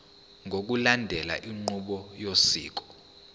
ngokulandela inqubo yosiko